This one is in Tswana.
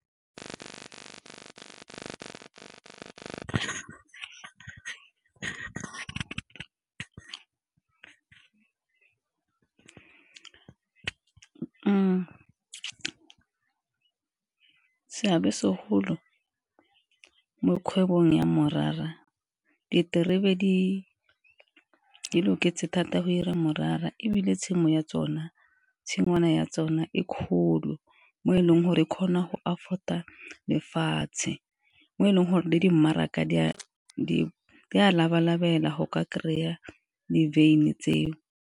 Seabe se golo mo kgwebong ya morara diterebe di loketseng thata go 'ira morara, ebile tshimo ya tsona tshingwana ya tsona e kgolo mo e leng gore e kgona go afford-a lefatshe, mo e leng gore le di mmaraka di a laba-lebela go ka kry-a di-wyn-i tseo.